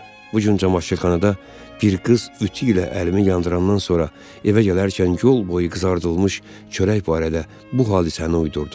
Bu gün camaşırxanada bir qız ütü ilə əlimi yandırandan sonra evə gələrkən yolboyu qızardılmış çörək barədə bu hadisəni uydurdum.